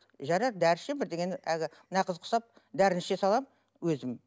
жарайды дәрі ішемін бірдеңені әлгі мына қыз құсап дәріні іше саламын өзім